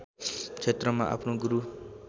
क्षेत्रमा आफ्नो गुरू